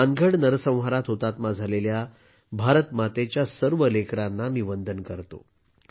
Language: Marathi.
मी त्या नरसंहारात हुतात्मा झालेल्या भारतमातेच्या सर्व लेकरांना वंदन करतो